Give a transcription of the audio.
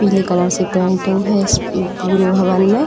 पीले कलर से पेंटिंग है इस म्म पूरे भवन में।